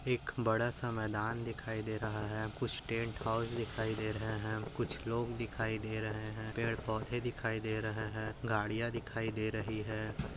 एक बड़ा सा मैदान दिखाई दे रहा है कुछ टेंट हाउस दिखाई दे रहे है कुछ लोग दिखाई दे रहे है पेड़-पौधे दिखाई दे रहे है गाड़िया दिखाई दे रही है ।